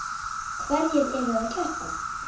Hverjir eru að keppa?